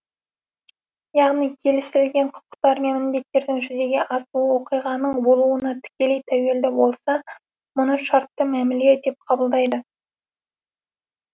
яғни келісілген құқықтар мен міндеттердің жүзеге асуы оқиғаның болуына тікелей тәуелді болса мұны шартты мәміле деп атайды